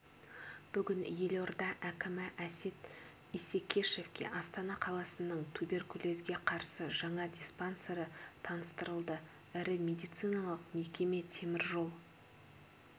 бүгін елорда әкімі әсет исекешевке астана қаласының туберкулезге қарсы жаңа диспансері таныстырылды ірі медициналық мекеме темір жол